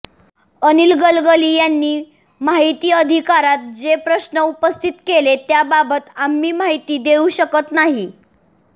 अनिल गलगली यांनी माहिती अधिकारात जे प्रश्न उपस्थित केले त्याबाबत आम्ही माहिती देऊ शकत नाही